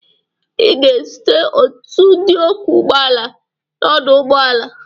Ị ga-ezute ọtụtụ ndị ọkwọ ụgbọala n'ọdụ ụgbọala.